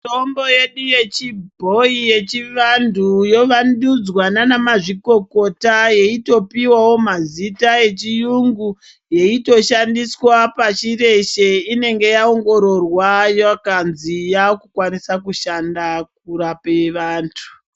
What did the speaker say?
Mitombo yedu yechi bhoyi yechi vantu ino vandudzwa naana mazikokota yeitopihwawo mazita ecgi yungu yeito shandiswa pashi reshe inenge yaingororwa ikanzi yaakukwanisa kushanda kurape vantu